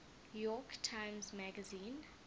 york times magazine